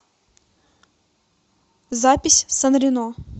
запись санрено